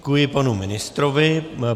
Děkuji panu ministrovi.